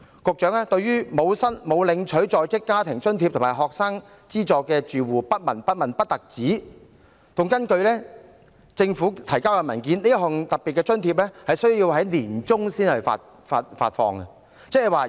局長不單對沒有領取在職家庭津貼和學生資助的住戶不聞不問，而且根據政府提交的文件，這項特別津貼會在年中才發放。